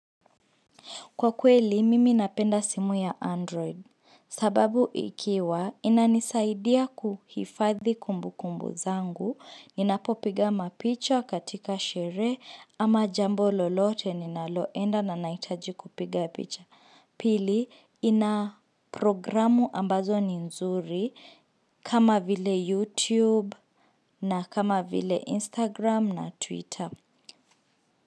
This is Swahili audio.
Kwa kweli, mimi napenda simu ya Android. Sababu ikiwa, inanisaidia kuhifadhi kumbukumbu zangu. Kwa kweli, mimi napenda simu ya Android. Pili, ina programu ambazo ni nzuri, kama vile youtube na kama vile Instagram na Twitter.